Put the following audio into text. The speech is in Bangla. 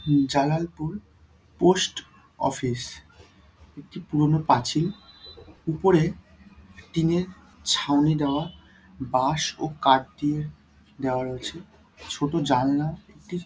জালালপুর পোস্ট অফিস একটি পুরোনো পাঁচিল উপরে টিন -এর ছাউনি দেওয়া বাঁশ ও কাঠ দিয়ে দেওয়া রয়েছে ছোট জানলা একটি--